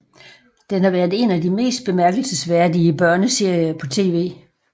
Den har været en af de mest bemærkelsesværdige børneserier på tv